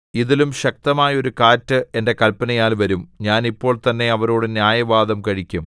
ഇതിലും ശക്തമായൊരു കാറ്റ് എന്റെ കല്പനയാൽ വരും ഞാൻ ഇപ്പോൾതന്നെ അവരോടു ന്യായവാദം കഴിക്കും